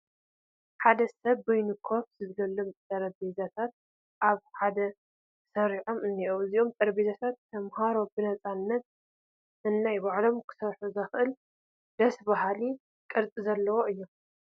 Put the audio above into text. ሓደ ሰብ ንበይኑ ኮፍ ዝብለሎም ጠረጴዛታት ኣብ ክፍሊ ተሰሪዖም እኔው፡፡ እዞም ጠረጴዛታት ተመሃሮ ብነፃነት ነናይ ባዕሎም ክሰርሑ ዘኽእል ደስ በሃሊ ቅርፂ ዘለዎም እዮም፡፡